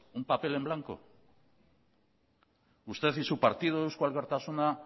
un papel en blanco usted y su partido eusko alkartasuna